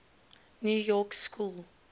new york school